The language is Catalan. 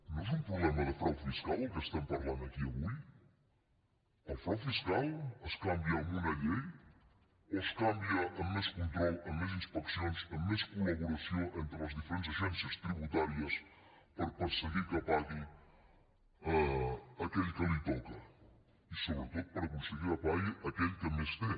no és un problema de frau fiscal el que estem parlant aquí avui el frau fiscal es canvia amb una llei o es canvia amb més control amb més inspeccions amb més collaboració entre les diferents agència tributàries per perseguir que pagui aquell a qui li toca i sobretot per aconseguir que pagui aquell que més té